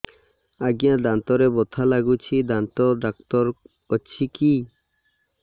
ଆଜ୍ଞା ଦାନ୍ତରେ ବଥା ଲାଗୁଚି ଦାନ୍ତ ଡାକ୍ତର ଅଛି କି